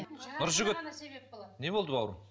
нұржігіт не болды бауырым